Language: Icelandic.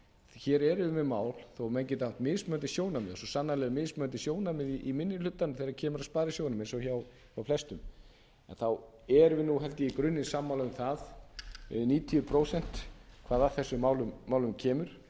hér erum við með mál þó að menn geti haft mismunandi sjónarmið og svo sannarlega eru mismunandi sjónarmið í minni hlutanum þegar kemur að sparisjóðunum eins og hjá flestum en þá erum við held ég í grunninn sammála um það eða um níutíu prósent hvað að þessum málum kemur